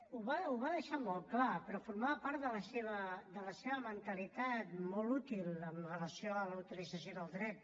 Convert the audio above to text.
ho va deixar molt clar però formava part de la seva mentalitat molt útil amb relació a la utilització del dret